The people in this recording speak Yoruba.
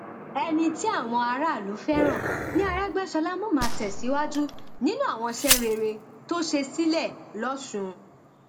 ẹni tí àwọn aráàlú fẹràn ní àrègbèsọlá mọ máa tẹsíwájú nínú àwọn iṣẹ rere tó ṣe sílẹ lọsùn